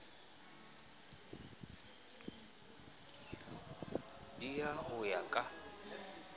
d ha ho ya ka